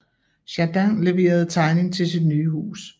Jardin levere tegning til sit nye hus